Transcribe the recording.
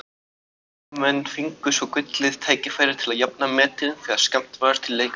Heimamenn fengu svo gullið tækifæri til að jafna metin þegar skammt var til leikhlés.